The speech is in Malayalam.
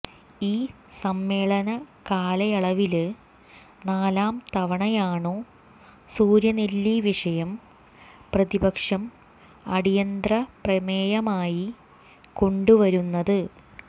ഈ സമ്മേളനകാലയളവില് നാലാം തവണയാണു സൂര്യനെല്ലി വിഷയം പ്രതിപക്ഷം അടിയന്തരപ്രമേയമായി കൊണ്ടുവരുന്നത്